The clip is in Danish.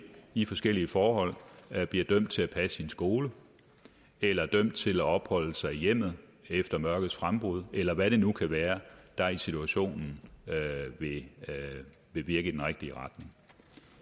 i forskellige forhold bliver dømt til at passe sin skole eller dømt til at opholde sig i hjemmet efter mørkets frembrud eller hvad det nu kan være der i situationen vil virke i den rigtige retning